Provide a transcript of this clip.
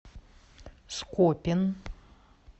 скопин